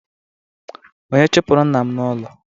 Onye chụpụrụ nna m n'ụlọ?